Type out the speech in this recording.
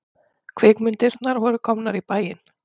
Kvikmyndirnar voru komnar í bæinn.